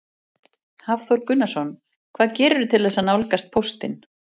Hafþór Gunnarsson: Hvað gerirðu til þess að nálgast póstinn?